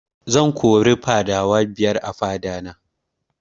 Zan kori fadawa biyar a fada na